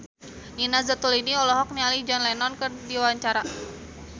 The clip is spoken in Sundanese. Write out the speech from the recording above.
Nina Zatulini olohok ningali John Lennon keur diwawancara